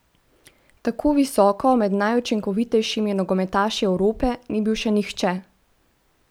Tako visoko med najučinkovitejšimi nogometaši Evrope ni bil še nihče!